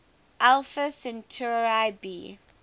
alpha centauri b